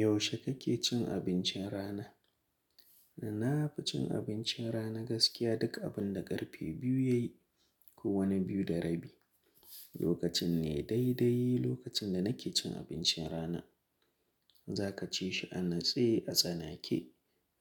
Yaushe kake cin abincin rana? Na nafi cin abincin rana gaskiya duk abun da ƙarfe biyu yayi ko wani biyu da rabi. Lokacin ne daidai lokacin da nake cin abincin rana. Za ka cishi a natse a tsana ke,